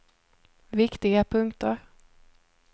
viktiga punkter